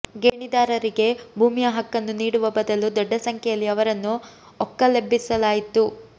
ಗೇಣಿದಾರರಿಗೆ ಭೂಮಿಯ ಹಕ್ಕನ್ನು ನೀಡುವ ಬದಲು ದೊಡ್ಡ ಸಂಖ್ಯೆಯಲ್ಲಿ ಅವರನ್ನು ಒಕ್ಕಲೆಬ್ಬಿಸಲಾಯಿತು